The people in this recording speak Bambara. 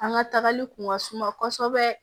An ka tagali kun ka suma kosɛbɛ